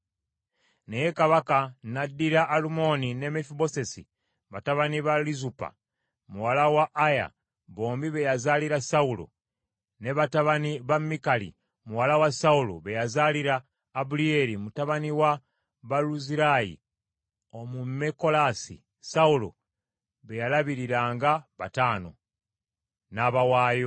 Naye kabaka n’addira Alumoni ne Mefibosesi batabani ba Lizupa muwala wa Aya bombi be yazaalira Sawulo, ne batabani ba Mikali muwala wa Sawulo be yazaalira Abuliyeri mutabani wa Baluzirayi Omumekolasi Sawulo be yalabiriranga bataano, n’abawaayo.